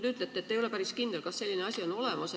Te ütlete, et te ei ole päris kindel, kas selline asi on olemas.